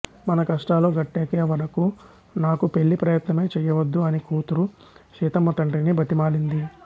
మన కష్టాలు గట్టెక్కేవరకూ నాకు పెళ్ళి ప్రయత్నమే చెయ్యవద్దు అని కూతురు సీతమ్మ తండ్రిని బతిమాలింది